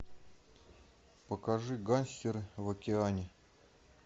покажи гангстеры в океане